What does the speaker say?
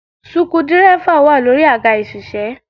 Suku dírẹ́fà wà lórí àga ìṣiṣẹ́